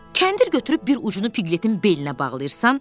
Kəndir götürüb bir ucunu Piqletin belinə bağlayırsan.